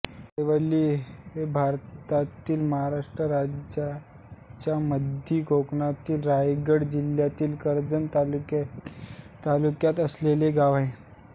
दहिवली हे भारतातील महाराष्ट्राच्या मध्य कोकणातील रायगड जिल्ह्यातील कर्जत तालुक्यात असलेले गाव आहे